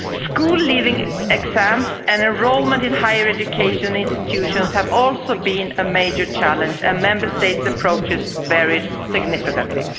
School-leaving exams and enrolment in higher education institutions have also been a major challenge and Member States' approaches varied significantly.